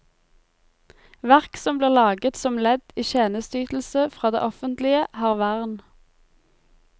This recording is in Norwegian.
Verk som blir laget som ledd i tjenesteytelse fra det offentlige, har vern.